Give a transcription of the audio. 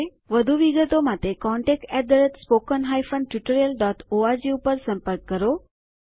વધુ વિગતો માટે contactspoken tutorialorg ઉપર સંપર્ક કરો